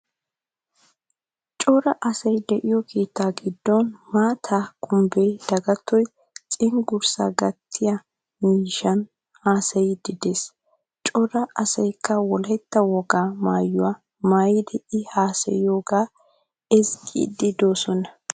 Cora asay de'iyo keetta giddon mantta Kumbe Dagattoy cenggurssa gattiiyaa miishshan haasayidi de'ees. Cora asaykka wolaytta wogaa maayuwaa maayidi i haasayiyogaa ezzgidi de'oosona.